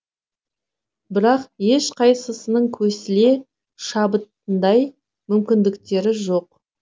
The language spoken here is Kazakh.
бірақ ешқайсысының көсіле шабатындай мүмкіндіктері жоқ